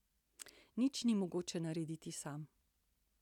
Nič ni mogoče narediti sam.